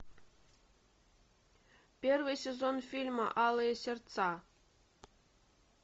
первый сезон фильма алые сердца